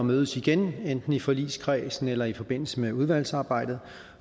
mødes igen enten i forligskredsen eller i forbindelse med udvalgsarbejdet